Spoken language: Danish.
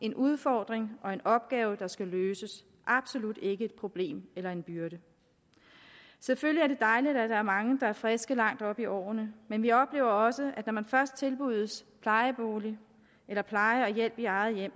en udfordring og en opgave der skal løses absolut ikke et problem eller en byrde selvfølgelig er det dejligt at der er mange der er friske langt oppe i årene men vi oplever også at når man først tilbydes plejebolig eller pleje og hjælp i eget hjem